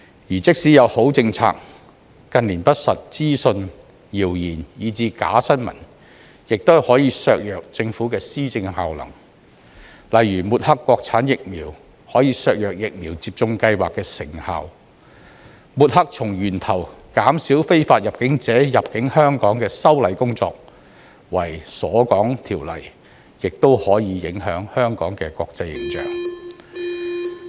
而即使有好政策，近年不實資訊、謠言、以至"假新聞"亦可以削弱政府的施政效能，例如抹黑國產疫苗可以削弱疫苗接種計劃的成效，抹黑從源頭減少非法入境者入境香港的修例工作為"鎖港條例"，亦可影響香港的國際形象。